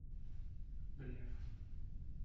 блеф